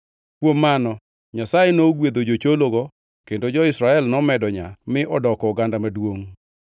Kuom mano Nyasaye nogwedho jochologo, kendo jo-Israel nomedo nyaa mi odoko oganda maduongʼ.